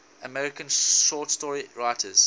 american short story writers